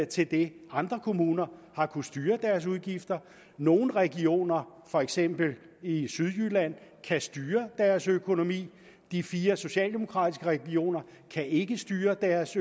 til det andre kommuner har kunnet styre deres udgifter nogle regioner for eksempel i sydjylland kan styre deres økonomi de fire socialdemokratiske regioner kan ikke styre deres